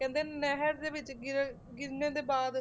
ਕਹਿੰਦੇ ਨਹਿਰ ਦੇ ਵਿੱਚ ਗਿਰਨ ਗਿਰਨੇ ਦੇ ਬਾਅਦ